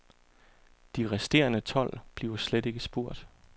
De resterende tolv bliver slet ikke spurgt.